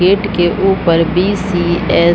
Gate के ऊपर BCS. --